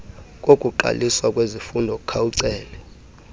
kokuqaliswa kwezifundo khawucele